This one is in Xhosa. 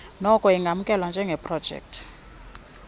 noko ingamkelwa njengeprojekthi